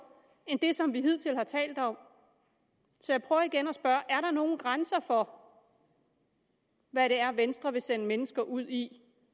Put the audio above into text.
end det som vi hidtil har talt om så jeg prøver igen at spørge er der nogen grænser for hvad det er venstre vil sende mennesker ud i